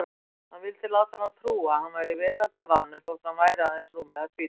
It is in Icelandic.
Hann vildi láta hana trúa að hann væri veraldarvanur þótt hann væri aðeins rúmlega tvítugur.